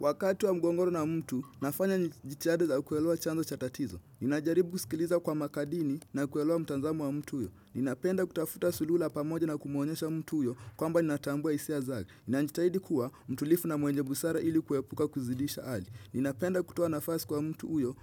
Wakati wa mgongoro na mtu, nafanya jitiada za kuelewa chanzo cha tatizo. Ninajaribu kusikiliza kwa makadini na kuelewa mtanzamo wa mtu huyo. Ninapenda kutafuta suluu la pamoja na kumuonyesha mtu huyo kwamba ninatambua isia zake. Ninajitahidi kuwa mtulifu na mwenye busara ili kuepuka kuzidisha hali. Ninapenda kutoa nafasi kwa mtu huyo